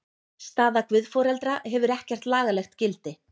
Staða guðforeldra hefur ekkert lagalegt gildi.